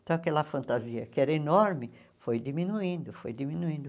Então, aquela fantasia que era enorme foi diminuindo, foi diminuindo.